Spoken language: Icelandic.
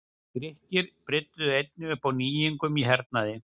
Grikkir brydduðu einnig upp á nýjungum í hernaði.